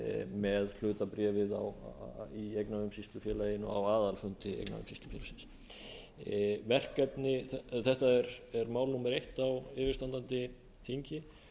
með hlutabréfið í eignaumsýslufélaginu á aðalfundi eignaumsýslufélagsins þetta er mál númer eitt á yfirstandandi þingi